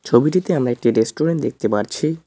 ছবিটিতে আমরা একটি রেস্টুরেন্ট দেখতে পারছি।